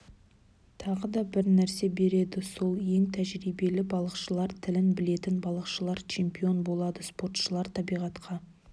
тағы да бірнәрсе береді сол ең тәжірибелі балықшылар тілін білетін балықшылар чемпион болады спортшылар табиғатқа